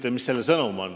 Ja aitäh selle eest!